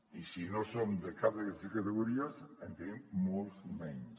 i si no som de cap d’aquestes categories en tenim molts menys